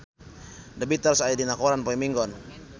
The Beatles aya dina koran poe Minggon